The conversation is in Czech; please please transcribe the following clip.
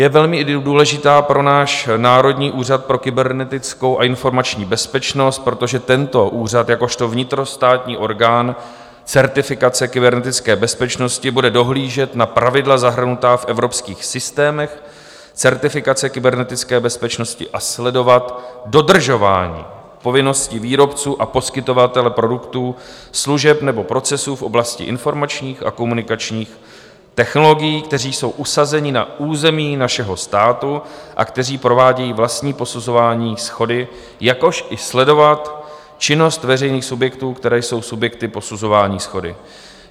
Je velmi důležitá pro náš Národní úřad pro kybernetickou a informační bezpečnost, protože tento úřad jakožto vnitrostátní orgán certifikace kybernetické bezpečnosti bude dohlížet na pravidla zahrnutá v evropských systémech certifikace kybernetické bezpečnosti a sledovat dodržování povinností výrobců a poskytovatele produktů, služeb nebo procesů v oblasti informačních a komunikačních technologií, kteří jsou usazeni na území našeho státu a kteří provádějí vlastní posuzování shody, jakož i sledovat činnost veřejných subjektů, které jsou subjekty posuzování shody.